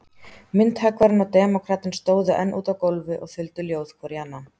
Myndhöggvarinn og demókratinn stóðu enn úti á gólfi og þuldu ljóð hvor í annan.